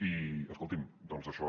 i escolti’m doncs això